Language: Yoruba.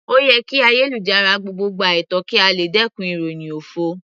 Ó yẹ kí ayélujára gbogbo gba ètò kí a lè dẹkùn ìròhìn òfo.